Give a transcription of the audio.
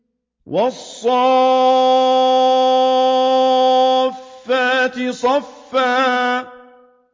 وَالصَّافَّاتِ صَفًّا